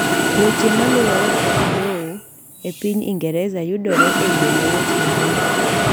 weche maluwore kod lowo e piny ingereza yudore e yoo mayot e mbui